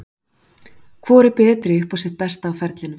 Hvor er betri upp á sitt besta á ferlinum?